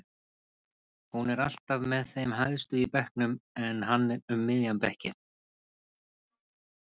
Hún er alltaf með þeim hæstu í bekknum en hann um miðjan bekk.